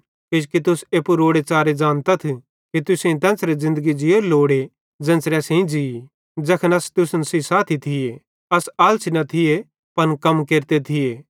किजोकि तुस एप्पू रोड़े च़ारे ज़ानतथ कि तुसेईं तेन्च़रे ज़िन्दगी ज़ीयोरी लोड़े ज़ेन्च़रे असेईं ज़ी ज़ैखन अस तुसन सेइं साथी थिये अस आलसी न थिये पन कम केरते थिये